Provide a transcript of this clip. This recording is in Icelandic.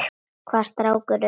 Hvaða strákar eru það?